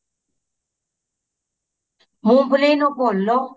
ਮੂੰਗਫਲੀ ਨੂੰ ਭੁੰਨ ਲੋ